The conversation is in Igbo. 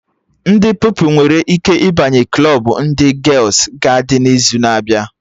Ndị Pupilụ nwere ike ịbanye klọbụ ndị gials-gaịdị n'izu na-abịa